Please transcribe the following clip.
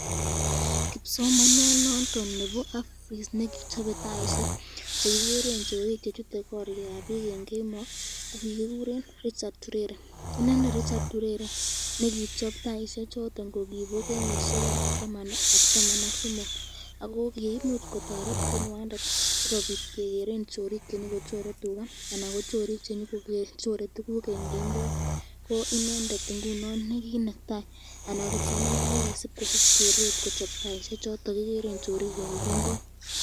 Kipsomaniat noton nebo RVIST nekichope taishek chekikeren chorik chechute korikab bik eng kemoi ko kikikuren Richard Turere, inendet Richard Turere nekichob taishek chondo kokibo kenyishekab taman ak somok .ako koimuch kotoret konywandet sikobit kekeren chorik chenyoko chore Tika anan chorik chenyokobendi kochore tukuk eng kemboi , inendet ingunon nekinetai kochob taishek chekikeren chorik kemboi.